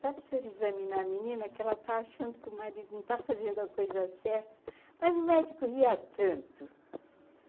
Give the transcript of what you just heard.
Dá para o senhor examinar a menina, que ela está achando que o marido não está fazendo a coisa certa, mas o médico ria tanto.